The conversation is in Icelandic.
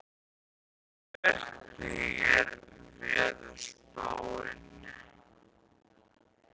Anný, hvernig er veðurspáin?